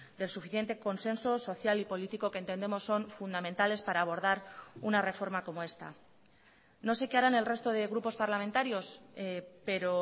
del suficiente consenso social y político que entendemos son fundamentales para abordar una reforma como esta no sé qué harán el resto de grupos parlamentarios pero